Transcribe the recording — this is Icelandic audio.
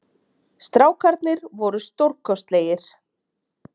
Strákarnir voru stórkostlegir